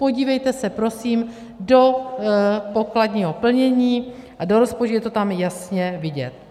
Podívejte se, prosím, do pokladního plnění a do rozpočtu, je to tam jasně vidět.